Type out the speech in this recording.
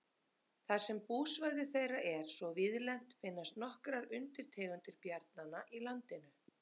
þar sem búsvæði þeirra er svo víðlent finnast nokkrar undirtegundir bjarnanna í landinu